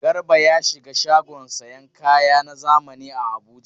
Garba ya shiga shagon sayan kaya na zamani a Abuja.